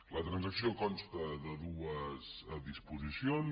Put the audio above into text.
la transacció consta de dues disposicions